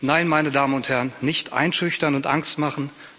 Nein, meine Damen und Herren, nicht einschüchtern und Angst machen.